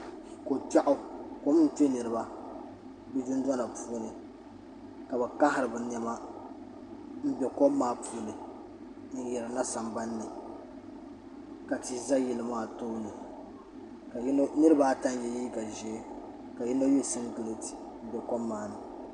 Ko kpɛɣaɣu kom n kpɛ niriba bi dundona puuni ka bi kahiri bi nɛma mbɛ kom maa puuni n yirina sambani ni ka tihi za yili maa tooni niriba ata n ye liiga zɛhi ka yino ye singlate mbɛ kom maa ni.